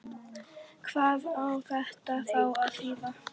Hvað á þetta þá að þýða?